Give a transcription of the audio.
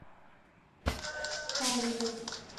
паниной